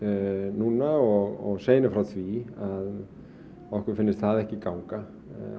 núna og segja henni frá því að okkur finnst það ekki ganga